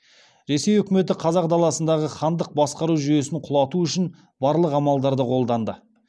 ресей өкіметі қазақ даласындағы хандық басқару жүйесін құлату үшін барлық амалдарды қолданды